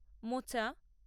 মোচা